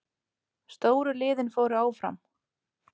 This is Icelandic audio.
Stóru liðin fóru áfram